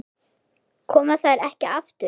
Koma þær ekki aftur?